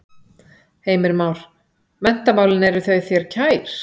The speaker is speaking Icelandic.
Heimir Már: Menntamálin eru þau þér kær?